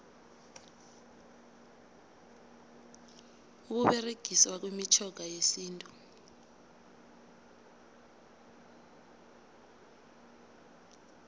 ukuberegiswa kwemitjhoga yesintu